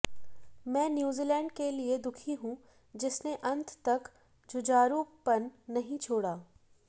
मैं न्यूजीलैंड के लिये दुखी हूं जिसने अंत तक जुझारूपन नहीं छोड़ा